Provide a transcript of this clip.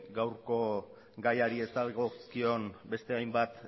gaurko gaiari ez dagozkion beste hainbat